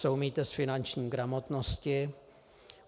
Co umíte z finanční gramotnosti?